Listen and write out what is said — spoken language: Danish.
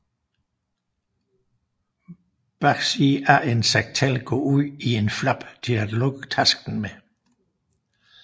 Bagsiden af en satchel går ud i en flap til at lukke tasken med